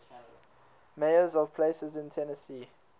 mayors of places in tennessee